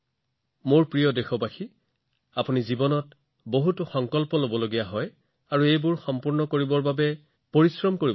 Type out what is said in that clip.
মোৰ মৰমৰ দেশবাসীসকল আপোনালোকে নিশ্চয় আপোনাৰ জীৱনত বহুতো সংকল্প গ্ৰহণ কৰিছে আপোনালোকে সেইবোৰ পূৰণ কৰিবলৈ কঠোৰ পৰিশ্ৰম কৰিব